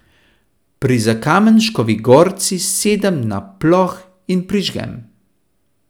Pri Zakamenškovi gorci sedem na ploh in prižgem.